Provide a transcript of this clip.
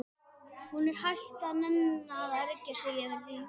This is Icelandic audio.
Hún er hætt að nenna að ergja sig yfir því.